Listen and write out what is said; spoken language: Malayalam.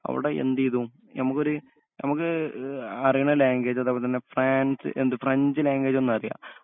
അവടെ എന്തെയ്തു ഞമ്മക്കൊര് ഞമ്മക്ക് എ ആറേണ ലാങ്ങ്വേജ് അതേപോലെതന്നെ ഫ്രാൻസ് എന്ത് ഫ്രഞ്ച് ലാങ്ങ്വേജൊന്നറിയാ